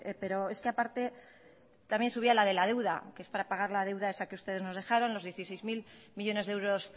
pero es que aparte también subía la de la deuda que es para pagar la deuda esa que ustedes nos dejaron los dieciséis mil millónes de euros